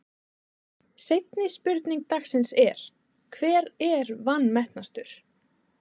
Seinni spurning dagsins er: Hver er vanmetnastur?